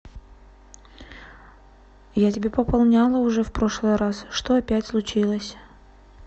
я тебе пополняла уже в прошлый раз что опять случилось